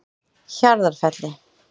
Hjarðarfelli